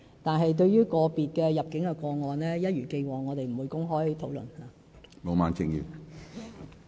但是，對於個別的入境個案，一如既往，我們不會公開討論。